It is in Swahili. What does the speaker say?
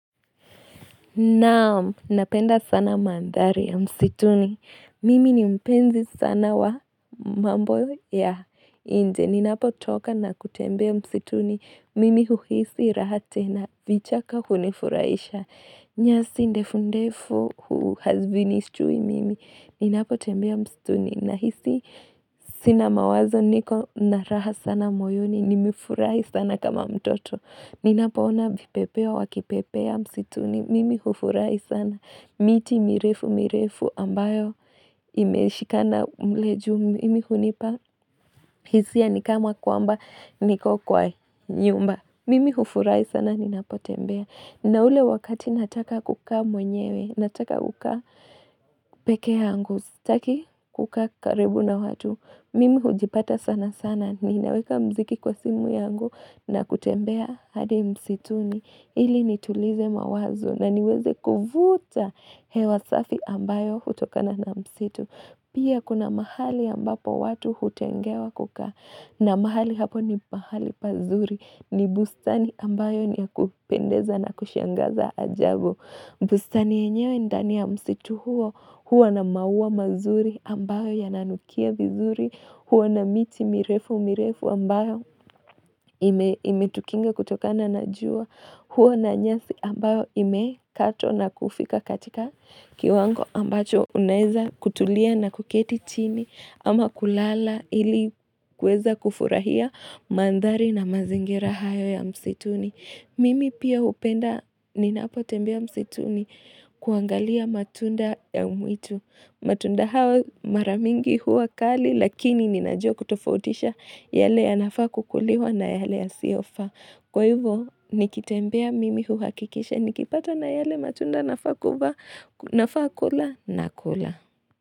Naam, napenda sana mandhari ya msituni. Mimi ni mpenzi sana wa mambo ya inje. Ninapotoka na kutembea msituni. Mimi huhisi raha tena. Vichaka hunifuraisha. Nyasi ndefundefu hu hazivinishtui mimi. Ninapotembea msituni. Nahisi sina mawazo niko na raha sana moyoni. Nimefurahi sana kama mtoto. Ninapoona vipepeo wakipepea msituni, mimi hufurahi sana, miti mirefu mirefu ambayo imeshikana mle juu mimi hunipa, hisia ni kama kwamba niko kwa nyumba, mimi hufurahi sana ninapotembea. Na ule wakati nataka kukaa mwenyewe, nataka kuka peke yangu, sitaki kukaa karibu na watu, mimi hujipata sana sana, ninaweka muziki kwa simu yangu na kutembea hadi msituni, ili nitulize mawazo na niweze kuvuta hewa safi ambayo hutokana na msitu. Pia kuna mahali ambapo watu hutengewa kukaa. Na mahali hapo ni mahali pazuri. Ni bustani ambayo ni ya kupendeza na kushangaza ajabu. Bustani yenyewe ndani ya msitu huo. Huo na maua mazuri ambayo yananukia vizuri. Huwa na miti mirefu mirefu ambayo imetukinga kutokana na jua. Huwa na nyasi ambayo imekatwa na kufika katika kiwango ambacho unaeza kutulia na kuketi chini ama kulala ili kueza kufurahia mandhari na mazingira hayo ya msituni. Mimi pia hupenda ninapotembea msituni kuangalia matunda ya mwitu. Matunda hawa mara mingi huwa kali lakini ninajua kutofautisha yale yanafaa kukuliwa na yale yasiyofaa. Kwa hivyo nikitembea mimi huhakikisha nikipata na yale matunda nafaa kula nakula.